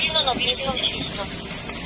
Qazanı hara qoyursunuz, təmiz olsun.